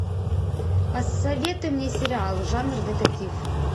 посоветуй мне сериал жанр детектив